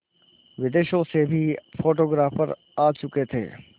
विदेशों से भी फोटोग्राफर आ चुके थे